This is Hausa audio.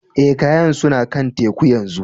Eh, kayan suna kan teku yanzu.